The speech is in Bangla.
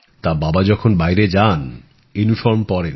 তা বাবা যখন বাইরে যান ইউনিফর্ম পরেন